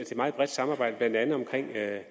have